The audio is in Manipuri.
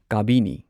ꯀꯥꯕꯤꯅꯤ